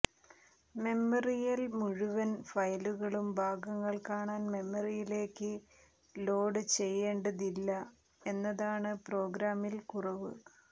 മെമ്മറിയിൽ മുഴുവൻ ഫയലുകളും ഭാഗങ്ങൾ കാണാൻ മെമ്മറിയിലേക്ക് ലോഡ് ചെയ്യേണ്ടതില്ല എന്നതാണ് പ്രോഗ്രാമിൽ കുറവ്